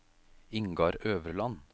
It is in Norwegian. Ingar Øverland